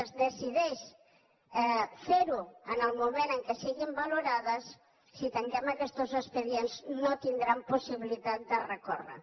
es decideix fer ho en el moment en què siguin valorades si tanquem aquestos expedients no tindran possibilitat de recórrer hi